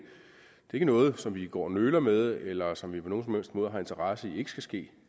ikke noget som vi går og nøler med eller som vi på nogen som helst måde har interesse i ikke skal ske